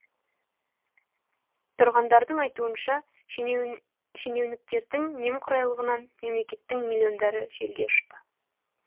тұрғындардың айтуынша шенеуніктердің немқұрайлығынан мемлекеттің миллиондары желге ұшты